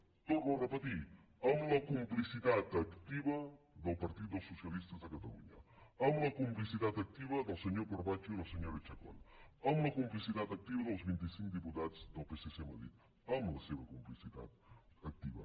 ho torno a repetir amb la complicitat activa del partit dels socialistes de catalunya amb la complicitat activa del senyor corbacho i la senyora chacón amb la complicitat activa dels vint i cinc diputats del psc a madrid amb la seva complicitat activa